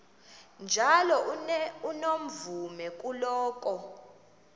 njalo unomvume kuloko